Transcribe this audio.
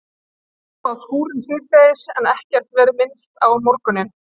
Það hafði verið spáð skúrum síðdegis en ekkert verið minnst á morguninn.